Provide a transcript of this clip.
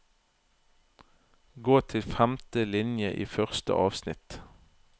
Gå til femte linje i første avsnitt